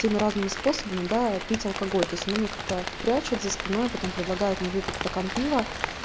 всеми разными способами да пить алкоголь то есть она мне как-то прячет за спиной потом предлагает мне выпить стакан пива